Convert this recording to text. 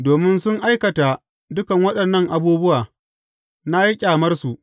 Domin sun aikata dukan waɗannan abubuwa, na yi ƙyamarsu.